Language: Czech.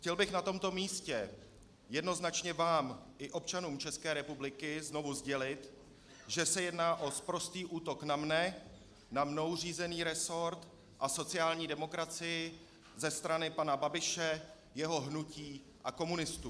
Chtěl bych na tomto místě jednoznačně vám i občanům České republiky znovu sdělit, že se jedná o sprostý útok na mne, na mnou řízený resort a sociální demokracii ze strany pana Babiše, jeho hnutí a komunistů.